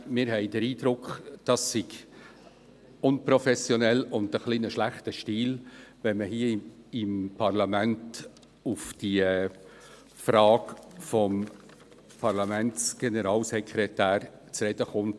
Wir haben den Eindruck, es sei unprofessionell und zeuge ein bisschen von schlechtem Stil, hier im Parlament auf die Frage des Parlamentsgeneralsekretärs zu sprechen zu kommen.